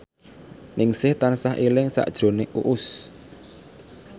Ningsih tansah eling sakjroning Uus